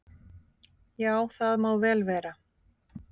"""Já, það má vel vera."""